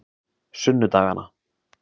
sunnudagana